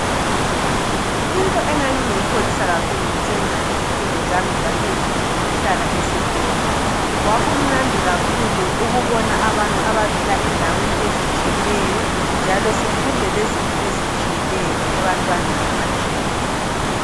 Into engangiyikholisa kakhulu ngisenza izifundo zami zaphezulu yikuhlala esikolo, kwaku mnandi kakhulu ukubona abantu abavela endaweni ezitshiyeneyo njalo sifunde lezinto ezitshiyeneyo ebantwaneni abatshiyeneyo.